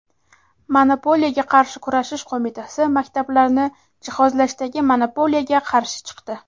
Monopoliyaga qarshi kurashish qo‘mitasi maktablarni jihozlashdagi monopoliyaga qarshi chiqdi.